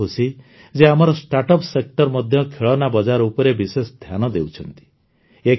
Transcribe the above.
ମୁଁ ବହୁତ ଖୁସି ଯେ ଆମର ଷ୍ଟାର୍ଟଅପ ସେକ୍ଟର ମଧ୍ୟ ଖେଳନା ବଜାର ଉପରେ ବିଶେଷ ଧ୍ୟାନ ଦେଉଛନ୍ତି